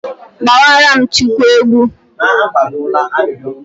Gbawaranụ Chukwu egwu.